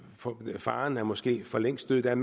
forbi og faren er måske for længst død der er